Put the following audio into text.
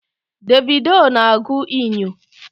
Davido na-agụ inyo